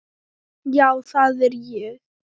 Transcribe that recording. Já það er ég